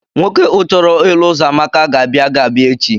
Nwoke uchọrọ ịlụ uzoamaka ga-abịa ga-abia echi.